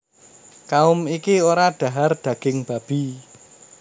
Kaum iki ora dhahar daging babi